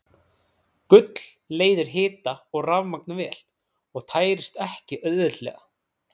Gull leiðir hita og rafmagn vel og tærist ekki auðveldlega.